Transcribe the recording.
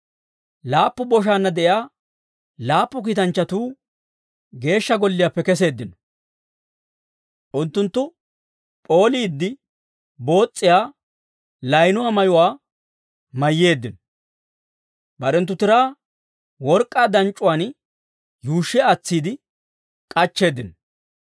Laappu boshaanna de'iyaa laappu kiitanchchatuu Geeshsha Golliyaappe keseeddino. Unttunttu p'ooliide boos's'iyaa laynuwaa mayuwaa mayyeeddino; barenttu tiraa work'k'aa danc'c'uwaan yuushshi aatsiide k'achcheeddino.